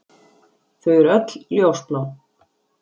Þau eru öll ljósblá.